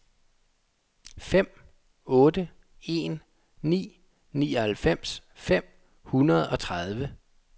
fem otte en ni nioghalvfems fem hundrede og tredive